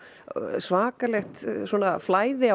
svakalegt flæði á